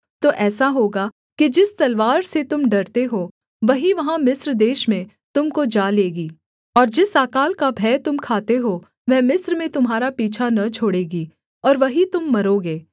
तो ऐसा होगा कि जिस तलवार से तुम डरते हो वही वहाँ मिस्र देश में तुम को जा लेगी और जिस अकाल का भय तुम खाते हो वह मिस्र में तुम्हारा पीछा न छोड़ेगी और वहीं तुम मरोगे